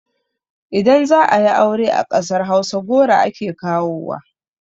Idan za ayi aure a ƙasar hausa goro ake kawowa